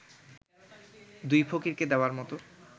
দুই ফকিরকে দেওয়ার মতো